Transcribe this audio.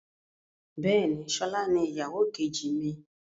Bẹ́ẹ̀ni, sọlá ni ìyàwó kejì mi.